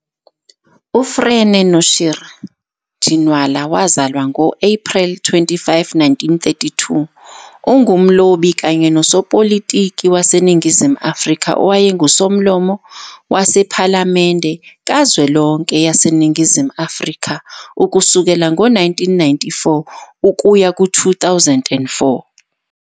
U-Frene Noshir Ginwalawazalwa ngo-Ephreli 25, 1932, ungumlobi kanye nosopolitiki waseNingizimu Afrika owayenguSomlomo wePhalamende kazwelonke yaseNingizimu Afrika ukusukela ngo-1994 ukuya ku-2004.